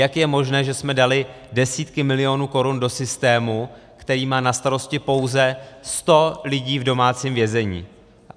Jak je možné, že jsme dali desítky milionů korun do systému, který má na starosti pouze 100 lidí v domácím vězení?